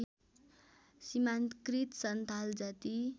सीमान्तकृत सन्थाल जाति